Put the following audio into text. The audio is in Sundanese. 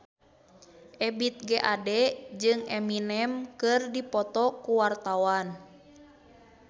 Ebith G. Ade jeung Eminem keur dipoto ku wartawan